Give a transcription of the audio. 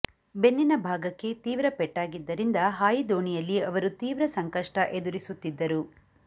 ಬೆನ್ನಿನ ಭಾಗಕ್ಕೆ ತೀವ್ರ ಪೆಟ್ಟಾಗಿದ್ದರಿಂದ ಹಾಯಿದೋಣಿಯಲ್ಲಿ ಅವರು ತೀವ್ರ ಸಂಕಷ್ಟ ಎದುರಿಸುತ್ತಿದ್ದರು